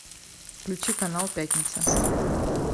включи канал пятница